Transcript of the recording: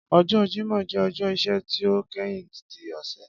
Ọjọ Jimọ jẹ ọjọ iṣẹ ti o kẹhin ti ọsẹ.